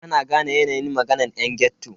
Bana gane yanayin maganan yan ghetto.